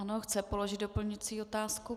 Ano, chce položit doplňující otázku.